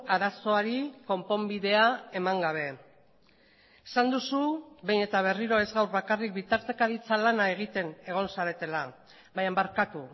arazoari konponbidea eman gabe esan duzu behin eta berriro ez gaur bakarrik bitartekaritza lana egiten egon zaretela baina barkatu